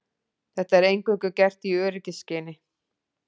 Þetta er eingöngu gert í öryggisskyni